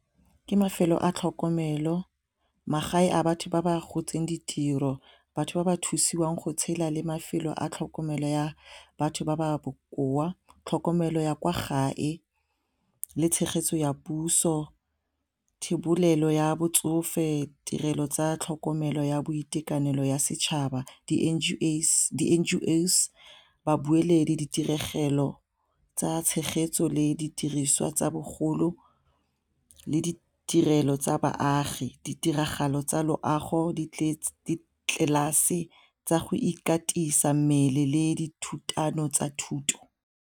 Ke mafelo a tlhokomelo magae a batho ba ba gotse ditiro batho ba ba thusiwang go tshela le mafelo a tlhokomelo ya batho ba ba bokoa, tlhokomelo ya kwa gae le tshegetso ya puso thebolelo ya botsofe, tirelo tsa tlhokomelo ya boitekanelo ya setšhaba, , babueledi, ditiregelo tsa tshegetso le didiriswa tsa bogolo le ditirelo tsa baagi, ditiragalo tsa loago ditlelase tsa go ikatisa mmele le dithutano tsa thuto.